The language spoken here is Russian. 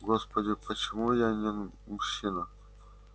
господи почему я не мужчина